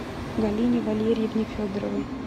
галине валерьевне федоровой